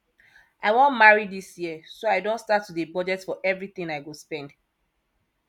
i wan marry dis year so i don start to dey budget for everything i go spend